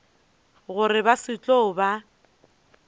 gore ba se tlo ba